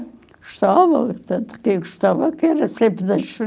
Gostava, tanto que gostava que era sempre das